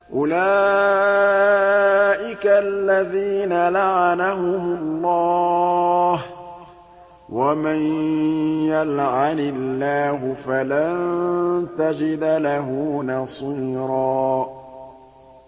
أُولَٰئِكَ الَّذِينَ لَعَنَهُمُ اللَّهُ ۖ وَمَن يَلْعَنِ اللَّهُ فَلَن تَجِدَ لَهُ نَصِيرًا